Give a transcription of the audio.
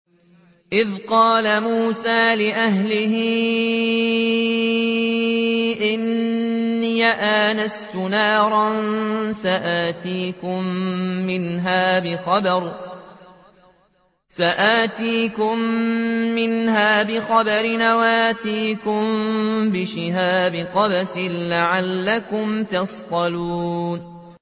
إِذْ قَالَ مُوسَىٰ لِأَهْلِهِ إِنِّي آنَسْتُ نَارًا سَآتِيكُم مِّنْهَا بِخَبَرٍ أَوْ آتِيكُم بِشِهَابٍ قَبَسٍ لَّعَلَّكُمْ تَصْطَلُونَ